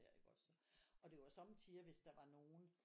Der iggås og det var sommetider hvis der var nogen